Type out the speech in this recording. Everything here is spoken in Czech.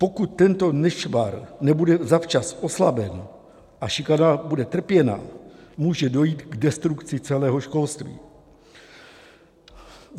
Pokud tento nešvar nebude zavčas oslaben a šikana bude trpěna, může dojít k destrukci celého školství.